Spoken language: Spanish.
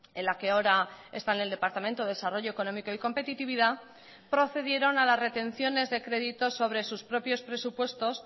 en la que ahora está en el departamento de desarrollo económico y competitividad procedieron a las retenciones de créditos sobre sus propios presupuestos